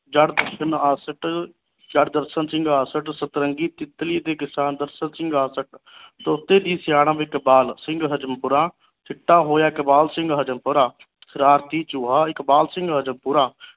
ਜੜ ਸਿੰਘ ਆਸਠ ਜੜ ਦਰਸ਼ਨ ਸਿੰਘ ਆਸਠ ਸਤਰੰਗੀ ਤਿਤਲੀ ਦੇ ਕਿਸਾਨ ਦਰਸ਼ਨ ਸਿੰਘ ਆਸਠ ਤੋਤੇ ਦੀ ਸਿਆਣਪ ਇਕਬਾਲ ਸਿੰਘ ਹਜ਼ਮਪੁਰਾ ਚਿੱਟਾ ਹੋਇਆ ਇਕਬਾਲ ਸਿੰਘ ਹਜ਼ਮਪੁਰਾ ਸਰਾਰਤੀ ਚੂਹਾ ਇਕਬਾਲ ਸਿੰਘ ਹਜ਼ਮਪੁਰਾ